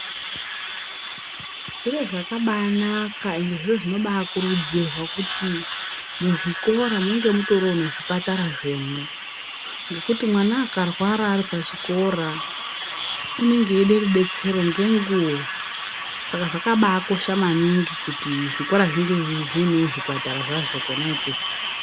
Zviro zvakabaanaka ende zviro zvinobaakurudzirwa kuti muzvikora munge mutoriwo nezvipatara zvemwo, ngekuti mwana akarwara ari pachikora, unenge eide rudetsero ngenguwa. Saka zvakabaakosha maningi kuti zvikora zvinge zviinewo zvipatara zvazvo kwona ikweyo.